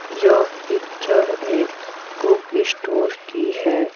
यह पिक्चर एक book store की है।